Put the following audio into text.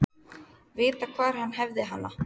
Vita hvar hann hefði hana.